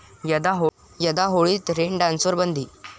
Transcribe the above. यंदा होळीत रेन डान्सवर बंदी